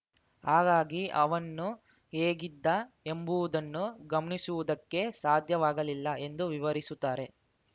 ಹಾಗಾಗಿ ಅವನ್ನು ಹೇಗಿದ್ದ ಎಂಬುವುದನ್ನು ಗಮನಿಸುವುದಕ್ಕೆ ಸಾಧ್ಯವಾಗಲಿಲ್ಲ ಎಂದು ವಿವರಿಸುತ್ತಾರೆ